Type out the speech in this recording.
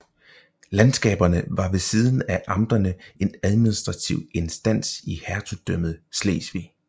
Landskaberne var ved siden af amterne en administrativ instans i Hertugdømmet Slesvig